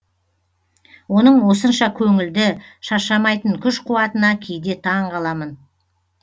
оның осынша көңілді шаршамайтын күш қуатына кейде таңғаламын